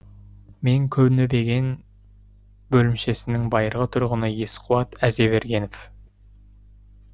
мен көнебөген бөлімшесінің байырғы тұрғыны есқуат әзбергенов